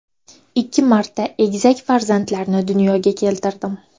Ikki marta egizak farzandlarni dunyoga keltirdim.